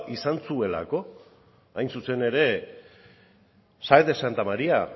izan zuelako hain zuzen ere sáenz de santamaría